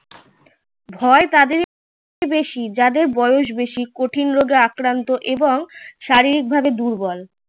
ভয় তাদেরই বেশি যাদের বয়স বেশি কঠিন রোগে আক্রান্ত এবং শারীরিক ভাবে দুর্বল